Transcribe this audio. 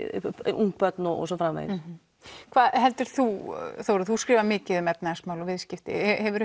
ung börn og svo framvegis hvað heldur þú Þórður þú skrifar mikið um efnahagsmál og viðskipti